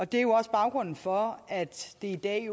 det er også baggrunden for at det i dag